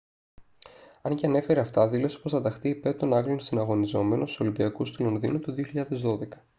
αν και ανέφερε αυτά δήλωσε πως θα ταχθεί υπέρ των άγγλων συναγωνιζόμενων στους ολυμπιακούς του λονδίνου το 2012